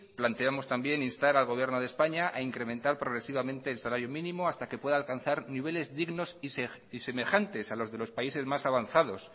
planteamos también instar al gobierno de españa a incrementar progresivamente el salario mínimo hasta que pueda alcanzar niveles dignos y semejantes a la de los de los países más avanzados